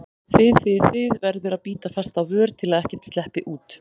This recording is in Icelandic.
þið þið, þið- verður að bíta fast á vör til að ekkert sleppi út.